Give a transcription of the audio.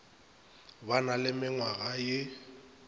ba na le menngwaga ye